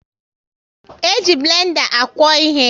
E ji blenda akwo ịhe